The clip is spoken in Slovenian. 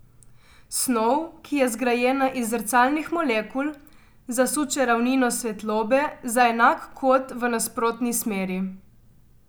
Snov, ki je zgrajena iz zrcalnih molekul, zasuče ravnino svetlobe za enak kot v nasprotni smeri.